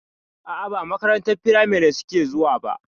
A'a ba makarantar firamari suke zuwa ba.